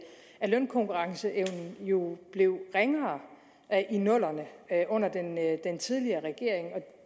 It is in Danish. lønkonkurrenceevnen jo blev ringere i nullerne under den tidligere regering